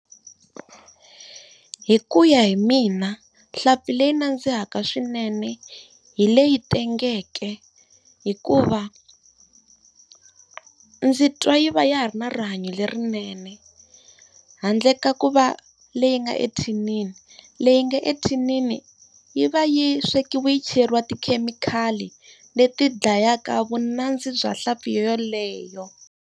Hi ku ya hi mina nhlampfi leyi nandzihaka swinene hi leyi tengeke hikuva, ndzi twa yi va ya ha ri na rihanyo lerinene. Handle ka ku va leyi nga ethinini leyi nga ethinini yi va yi swekiwi yi cheriwangi tikhemikhali leti dlayaka vunandzi bya nhlampfi yoyaleyo.